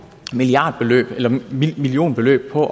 millionbeløb på